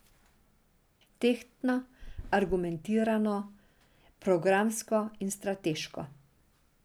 Tehtno, argumentirano, programsko in strateško.